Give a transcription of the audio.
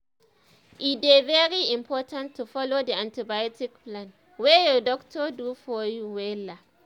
e dey very important to follow the antibiotic plan wey your doctor do for you wella